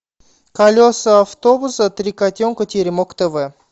колеса автобуса три котенка теремок тв